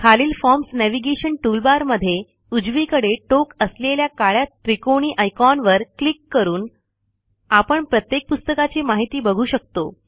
खालील forms navigation toolbar मधे उजवीकडे टोक असलेल्या काळ्या त्रिकोणी आयकॉन वर क्लिक करून आपण प्रत्येक पुस्तकाची माहिती बघू शकतो